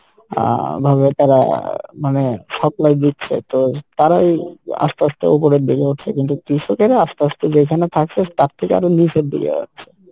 আহ ভাবে তারা মানে supply দিচ্ছে তো তারাই আস্তে আস্তে উপরের দিকে উঠছে কিন্তু কৃষকেরা আস্তে আস্তে যেইখানে থাকসে তার থেকে আরও নিচের দিকে যাচ্ছে